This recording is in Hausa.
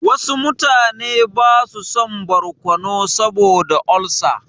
Wasu mutane ba su son barkono saboda olsa.